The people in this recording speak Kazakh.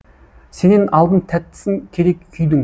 сенен алдым тәттісін керек күйдің